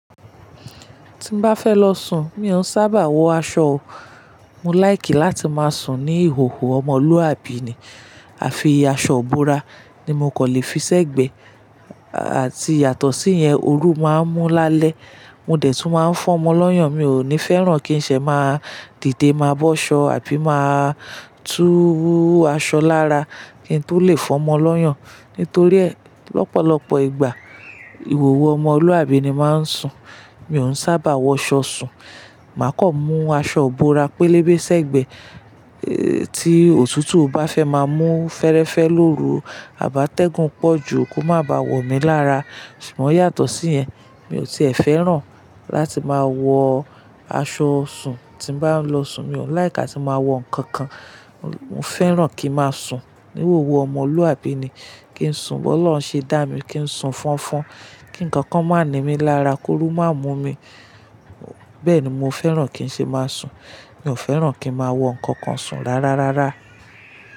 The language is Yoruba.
Tí n bá fẹ́ lọ sùn, mi ò sábà wọ aṣọ. Mo láìkì láti máa sùn ní ìhòòhò ọmọlúwàbí ni. Àfi aṣọ búrà, ni mo kò lè fi sẹ́gbẹ̀ẹ́. Àti yàtọ̀ sí yẹn, ooru máa ń mú lálẹ́, mo dẹ̀ tún máa ń fọ́mọ lọ́yàn. Mi ò ní fẹ́ràn kí n ṣe máa dìde máa bọ́ ṣọ, àbí máa tú aṣọ lára. Kìí tó lè fọ́mọ lọ́yàn. Nítorí ẹ, lọ́pọ̀lọpọ̀ ìgbà, ìhòòhò ọmọlúwàbí ni máa ń sùn. Mi ò sábà wọ aṣọ sùn. Màá kọ̀ mú aṣọ búrà pélébé sẹ́gbẹ̀ẹ́. Ti òtútù bá fẹ́ máa mú fẹ́rẹ́fẹ́ lóru, à bá tẹ́gùn pọ̀ jù, kó má ba wọ̀ mí lára. Ṣùgbọ́n yàtọ̀ sí yẹn, mi ò tíẹ̀ fẹ́ràn láti máa wọ aṣọ sùn. Tí n bá ń lọ sùn, mi ò láìkì láti máa wọ nǹkan kan. Mo fẹ́ràn kí n máa sùn níhòòhò ọmọlúwàbí ni. Kí n sùn, bó Ọlọ́run ṣe dá mi, kí n sùn fọnfọn, kí nǹkan kan má ni mí lára, kóru má mú mi. Bẹ́ẹ̀ ni mo fẹ́ràn kí n ṣe máa sùn. Mi ò fẹ́ràn kí n máa wọ nǹkan kan sùn rárárárá.